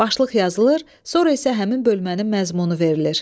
Başlıq yazılır, sonra isə həmin bölmənin məzmunu verilir.